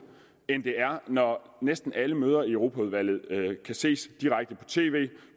end det er når næsten alle møder i europaudvalget kan ses direkte på tv